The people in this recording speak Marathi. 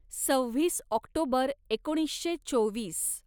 सव्वीस ऑक्टोबर एकोणीसशे चोवीस